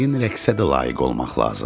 Yəqin rəqsə də layiq olmaq lazımdır.